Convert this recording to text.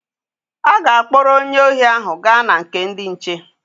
A ga-akpọrọ onye ohi ahụ gaa na nke ndị nche.